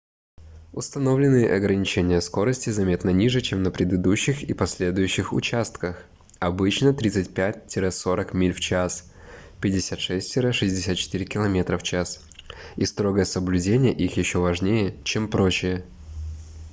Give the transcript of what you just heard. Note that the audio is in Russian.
установленные ограничения скорости заметно ниже чем на предыдущих и последующих участках — обычно 35-40 миль/ч 56-64 км/ч — и строгое соблюдение их ещё важнее чем прочее